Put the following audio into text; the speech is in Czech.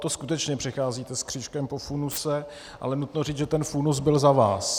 To skutečně přicházíte s křížkem po funuse, ale nutno říct, že ten funus byl za vás.